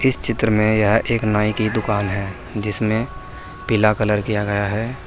इस चित्र में यह एक नाई की दुकान है जिसमे पीला कलर किया गया है।